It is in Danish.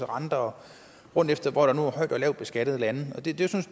renter rundt efter hvor der nu er højt og lavt beskattede lande